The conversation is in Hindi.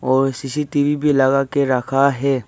और सी_सी_टी_वी भी लगा के रखा है।